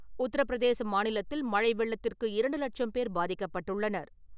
உத்தரப்பிரதேச மாநிலத்தில் மழை வெள்ளத்திற்கு இரண்டு லட்சம் பேர் பாதிக்கப்பட்டுள்ளனர்.